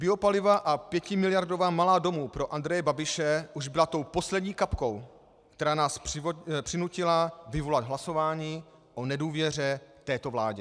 Biopaliva a pětimiliardová malá domů pro Andreje Babiše už byla tou poslední kapkou, které nás přinutila vyvolat hlasování o nedůvěře této vládě.